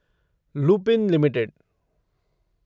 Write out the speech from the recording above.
Lupin limited